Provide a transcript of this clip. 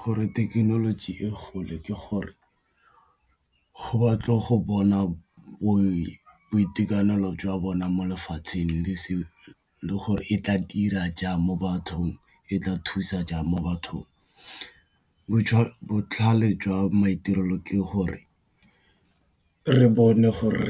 Gore thekenoloji e gole ke gore go batle go bona boitekanelo jwa bona mo lefatsheng le gore e tla dira jang mo bathong e tla thusa jang mo bathong, botlhale jwa maitirelo ke gore re bone gore